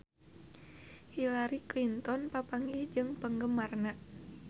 Hillary Clinton papanggih jeung penggemarna